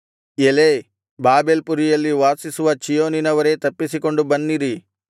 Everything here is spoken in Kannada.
ಎಲೈ ಬಾಬೆಲ್ ಪುರಿಯಲ್ಲಿ ವಾಸಿಸುವ ಚೀಯೋನಿನವರೇ ತಪ್ಪಿಸಿಕೊಂಡು ಬನ್ನಿರಿ